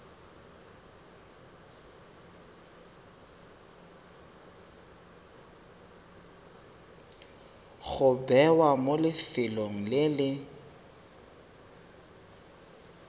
go bewa mo lefelong le